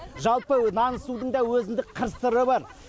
жалпы нан ысудың да өзіндік қыр сыры бар